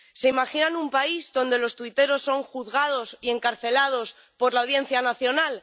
¿Se imaginan un país donde los tuiteros son juzgados y encarcelados por la Audiencia Nacional?